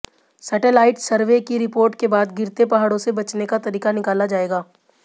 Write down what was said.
satellite survey की report के बाद गिरते पहाड़ों से बचने का तरीका निकाला जाएगा